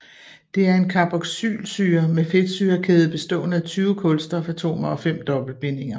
Det er en carboxylsyre med en fedtsyrekæde bestående af 20 kulstofatomer og fem dobbeltbindinger